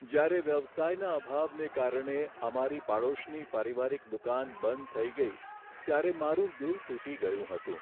જ્યારે વ્યવસાયના અભાવને કારણે અમારી પડોશની પારિવારિક દુકાન બંધ થઈ ગઈ ત્યારે મારું દિલ તૂટી ગયું હતું.